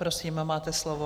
Prosím, máte slovo.